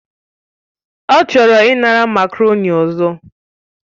Ọ chọrọ ịnara makarọ̀ni ọzọ